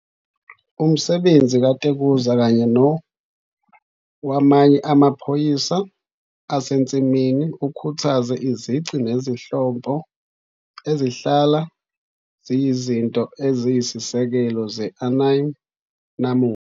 Umsebenzi kaTezuka - kanye nowamanye amaphayona asensimini - ukhuthaze izici nezinhlobo ezihlala ziyizinto eziyisisekelo ze-anime namuhla.